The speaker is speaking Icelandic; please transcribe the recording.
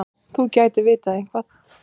Já, þú gætir vitað eitthvað.